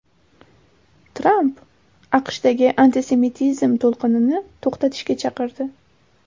Tramp AQShdagi antisemitizm to‘lqinini to‘xtatishga chaqirdi.